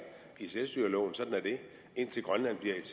i selvstyreloven sådan er det indtil grønland bliver et